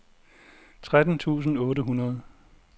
tretten tusind otte hundrede